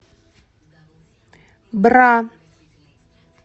бра